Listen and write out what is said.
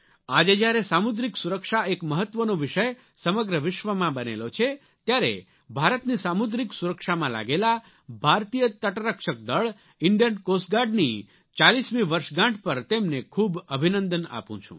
આજે જ્યારે સામુદ્રિક સુરક્ષા એક મહત્વનો વિષય સમગ્ર વિશ્વમાં બનેલો છે ત્યારે ભારતની સામુદ્રિક સુરક્ષામાં લાગેલા ભારતીય તટરક્ષક દળ ઇન્ડિયન કોસ્ટ ગાર્ડ ની ચાલીસમી વર્ષગાંઠ પર તેમને ખૂબ અભિનંદન આપું છું